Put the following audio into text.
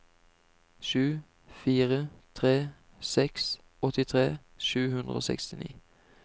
sju fire tre seks åttitre sju hundre og sekstini